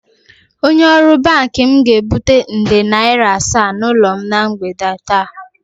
Onye ọrụ banki m ga-ebute nde naira asaa n'ụlọ na mgbede taa